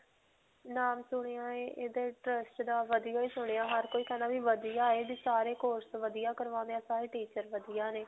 ਨਾਮ ਸੁਣਿਆ ਹੈ ਇਹ trust ਦਾ ਵਧੀਆ ਹੀ ਸੁਣਿਆ ਹੈ ਹਰ ਕੋਈ ਕਹਿੰਦਾ ਵੀ ਵਧੀਆ ਹੈ ਵੀ ਸਾਰੇ course ਵਧੀਆ ਕਰਵਾਉਂਦੇ ਹੈ. ਸਾਰੇ teacher ਵਧੀਆ ਨੇ.